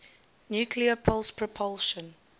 nuclear pulse propulsion